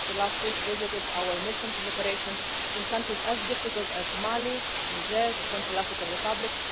I just last week visited our missions and operations in countries as difficult as Mali, Niger and the Central African Republic.